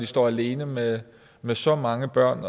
står alene med med så mange børn